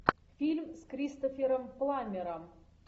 фильм с кристофером пламмером